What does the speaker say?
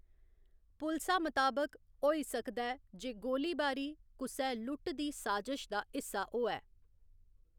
पुलसा मताबक, होई सकदा ऐ जे गोली बारी कुसै लुट्ट दी साजश दा हिस्सा होऐ।